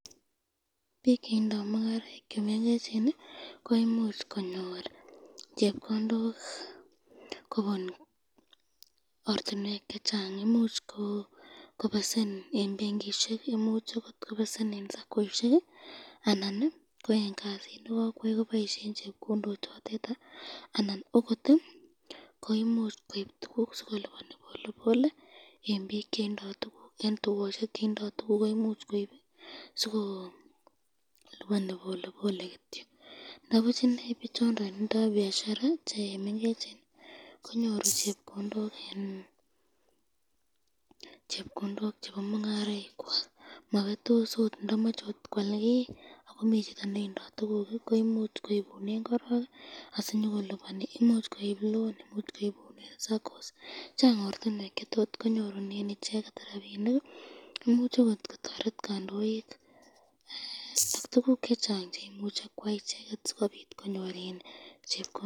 pik cheindo mungaraik chemengecheni koimuch konyor chepkondok, kobun ortinwek chechang ,imuch kobesen eng benkishek, imuch akot kobesen eng sakoishek ii anan ii ko eng kasit nekakwai koboishen chepkondok chotet anan akot koimuch koib tukuk sikolopani polepole eng bik chetindoi tukuk eng tukoshek cheindo tukuk, sikolopani polepole kityo ndabuch inei bichonden indoi biashara chemengecheni konyoru chepkondok chebo mungaraik kwako mabetos ot ndamache kwal kiy ,Chang ortinwek cheimuche konyorunen chepkondok imuch akot kotoret kandoik.